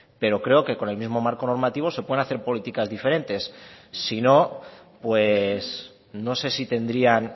pero creo que con el mismo marco normativo se pueden hacer políticas diferentes sino pues no sé si tendrían